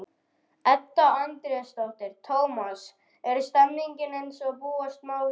Edda Andrésdóttir: Tómas, er stemningin eins og búast má við?